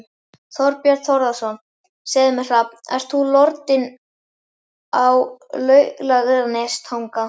Þorbjörn Þórðarson: Segðu mér Hrafn, ert þú lordinn af Laugarnestanga?